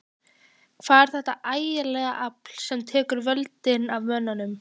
Hvað er þetta ægilega afl sem tekur völdin af mönnum?